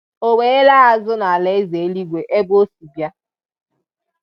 O wee laa azụ n’alaeze eluigwe ebe Ọ si bịa.